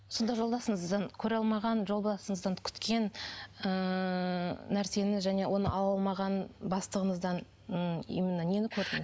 сонда жолдасыңыздан көре алмаған жолдасыңыздан күткен ыыы нәрсені және оны ала алмаған бастығыңыздан м именно нені көрдің